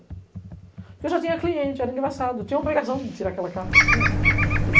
Porque eu já tinha cliente, era, eu tinha obrigação de tirar aquela carta, tinha